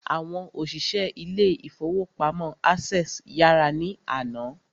Àwọn òṣìṣẹ́ ilé ìfọwọ́pamo Access yàrá ní àná.